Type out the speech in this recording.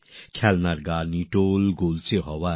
এই খেলনাগুলি সবদিক থেকে গোলাকৃতি